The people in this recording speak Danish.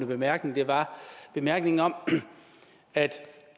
bemærkning var bemærkningen om at